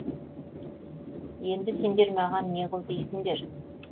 енді сендер маған пе қыл дейсіңдер